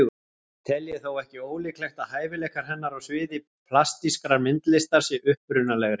Tel ég þó ekki ólíklegt að hæfileikar hennar á sviði plastískrar myndlistar séu upprunalegri.